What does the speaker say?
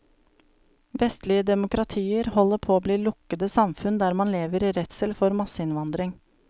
Vestlige demokratier holder på å bli lukkede samfunn der man lever i redsel for masseinnvandring.